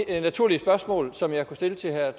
det naturlige spørgsmål som jeg kan stille til herre